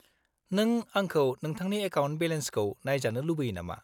-नों आंखौ नोंथांनि एकाउन्ट बेलेन्सखौ नायजानो लुबैयो नामा?